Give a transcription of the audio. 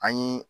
An ye